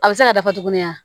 A bɛ se ka dafa tuguni wa